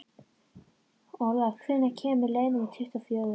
Olav, hvenær kemur leið númer tuttugu og fjögur?